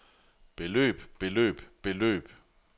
beløb beløb beløb